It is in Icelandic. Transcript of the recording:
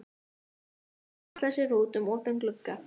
Bauja hallar sér út um opinn glugga.